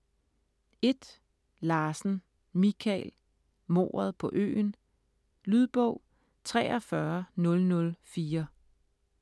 Larsen, Michael: Mordet på øen Lydbog 43004